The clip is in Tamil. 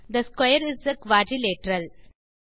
they square is a quadrilateral